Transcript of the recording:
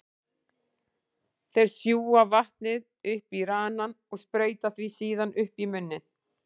Þeir sjúga vatnið upp í ranann og sprauta því síðan upp í munninn.